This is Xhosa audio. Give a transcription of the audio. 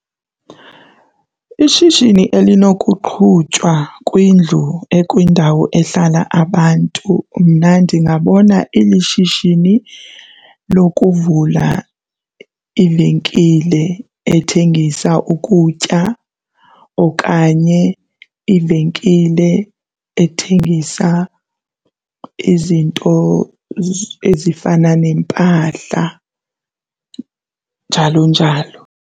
Ishishini elinokuqhutywa kwindlu ekwindawo ehlala abantu mna ndingabona ilishishini lokuvula ivenkile ethengisa ukutya okanye ivenkile ethengisa izinto ezifana nempahla, njalo njalo.